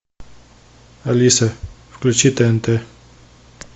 алиса включи тнт